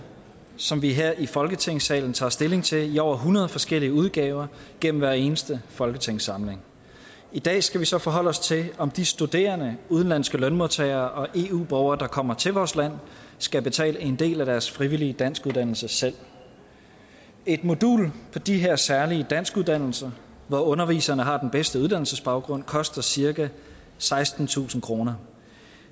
som vi her i folketingssalen tager stilling til i over hundrede forskellige udgaver gennem hver eneste folketingssamling i dag skal vi så forholde os til om de studerende udenlandske lønmodtagere og eu borgere der kommer til vores land skal betale en del af deres frivillige danskuddannelse selv et modul på de her særlige danskuddannelser hvor underviserne har den bedste uddannelsesbaggrund koster cirka sekstentusind kroner